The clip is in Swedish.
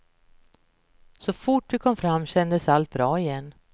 Så fort vi kom fram kändes allt bra igen.